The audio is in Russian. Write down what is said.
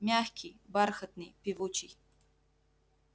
мягкий бархатный певучий